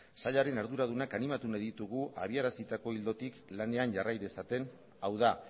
sailaren arduradunak animatu nahi ditugu abiarazitako ildotik lanean jarrai dezaten hau da